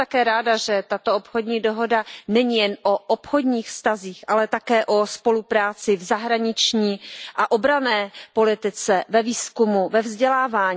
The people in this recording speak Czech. Jsem také ráda, že tato obchodní dohoda není jen o obchodních vztazích, ale také o spolupráci v zahraniční a obranné politice, ve výzkumu, ve vzdělávání.